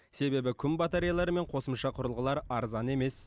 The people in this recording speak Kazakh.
себебі күн батареялары мен қосымша құрылғылар арзан емес